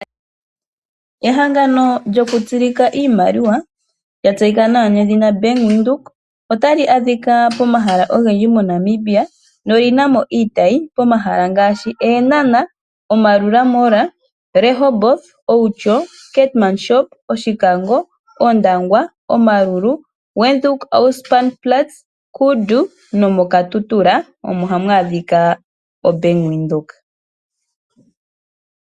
Ehangano lyoku tsilika iimaliwa lya tseyika nawa nedhina Bank Windhoek, otali adhika pomaha ogendji monamibia Noyi namo iitayi pomashala ngaashi mEnanah , Omarura mall, Rehoboth, Oundjo ,Keetmanshoop, ,Oshikango ,Ondangwa, Omaruru , Windhoek,,Auspenplatz ,Kundu nomoKatutura. Omo hamu adhika o Bank Windhoek.